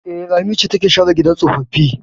E, Lami ce take share gidan tsofaffi.